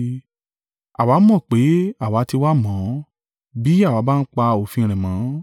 Àwa mọ̀ pé àwa ti wá mọ̀ ọ́n, bí àwa bá ń pa òfin rẹ̀ mọ́.